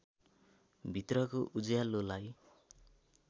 भित्रको उज्यालोलाई